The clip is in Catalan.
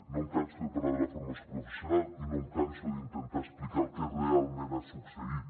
no em canso de parlar de la formació professional i no em canso d’intentar explicar el que realment ha succeït